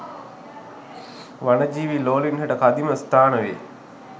වනජීවී ලෝලීන් හට කදිම ස්ථාන වෙයි